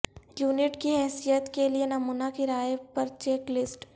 unit کی حیثیت کے لئے نمونہ کرایہ پر چیک لسٹ